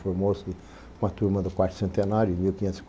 Formou-se com a turma do quarto centenário, em mil quinhentos e